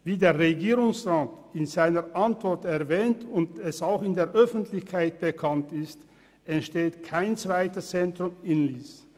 Wie der Regierungsrat in seiner Antwort erwähnt und wie es auch in der Öffentlichkeit bekannt ist, entsteht kein zweites Zentrum in Lyss.